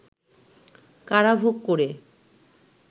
কারাভোগ করে